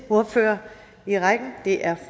ordfører i rækken er